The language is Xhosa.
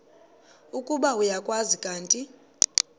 ukuba uyakwazi kanti